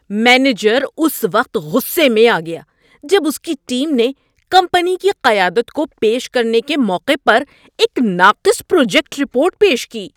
Manager اس وقت غصے میں آ گیا جب اس کی ٹیم نے کمپنی کی قیادت کو پیش کرنے کے موقع پر ایک ناقص پروجیکٹ رپورٹ پیش کی۔